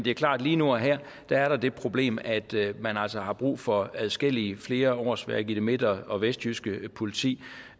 det er klart at lige nu og her er der det problem at man altså har brug for adskillige flere årsværk i det midt og vestjyske politi